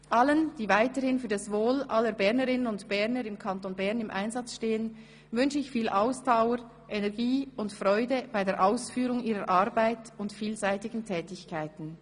Allen, die weiterhin für das wohl aller Bernerinnen und Berner im Kanton Bern im Einsatz stehen, wünsche ich viel Ausdauer, Energie und Freude bei der Ausführung ihrer Arbeit und vielseitigen Tätigkeiten.